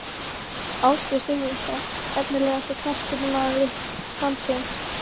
Ásgeir Sigurvinsson Efnilegasti knattspyrnumaður landsins?